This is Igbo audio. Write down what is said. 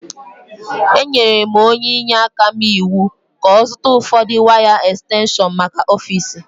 Enyere m onye inyeaka m iwu ka ọ zụta ụfọdụ waya ekstenshọnmaka ọfiisi